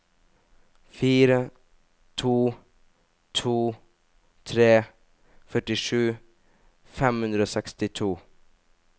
fire to to tre førtisju fem hundre og sekstito